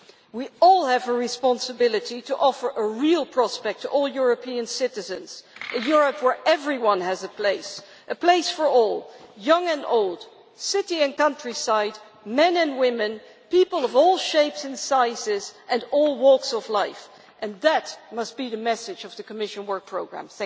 We all have a responsibility to offer a real prospect to all European citizens, a Europe where everyone has a place, a place for all young and old, city and countryside, men and women, people of all shapes and sizes and all walks of life and that must be the message of the Commission Work Programme.